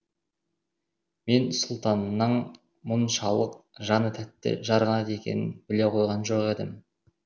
мен сұлтанның мұншалық жаны тәтті жарғанат екенін біле қойған жоқ едім